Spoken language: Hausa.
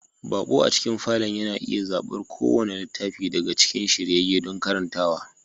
Baƙo a cikin falon yana iya zaɓar kowane littafi daga cikin shiryayye don karantawa